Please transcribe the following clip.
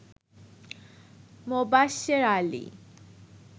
Mobashwer Ali